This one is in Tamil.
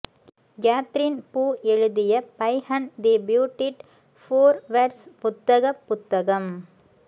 கேத்ரீன் பூ எழுதிய பைஹண்ட் தி பியூட்டிட் ஃபோர்வெர்ஸ் புத்தக புத்தகம்